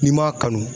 N'i m'a kanu